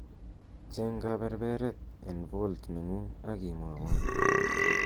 cheng' kaberberet en vault nengung' ak imwowon